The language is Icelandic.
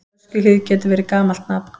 Öskjuhlíð getur verið gamalt nafn.